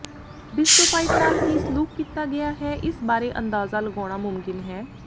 ਬਿੱਸਟੋਫਾਈਟ ਨਾਲ ਕੀ ਸਲੂਕ ਕੀਤਾ ਗਿਆ ਹੈ ਇਸ ਬਾਰੇ ਅੰਦਾਜ਼ਾ ਲਗਾਉਣਾ ਮੁਮਕਿਨ ਹੈ